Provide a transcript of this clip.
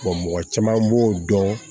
mɔgɔ caman b'o dɔn